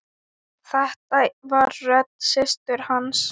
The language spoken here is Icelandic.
Þetta var rödd systur hans.